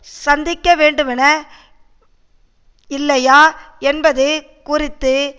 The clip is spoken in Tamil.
சந்திக்க வேண்டுமென இல்லையா என்பது குறித்து